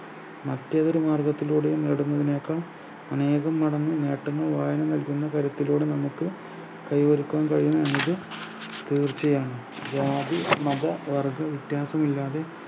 മറ്റ് ഏത് മാർഗത്തിലൂടെയും നേടുന്നതിനെക്കാൾ അനേകം നടന്ന് നേട്ടങ്ങൾ വാരി വരുന്ന തരത്തിലൂടെ നമ്മക്ക് കൈവരിക്കുവാൻ കഴിയും എന്നത് തീർച്ചയാണ് ജാതി മത വർഗ്ഗ വ്യത്യാസം ഇല്ലാതെ